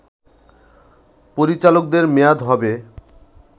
পরিচালকদের মেয়াদ হবে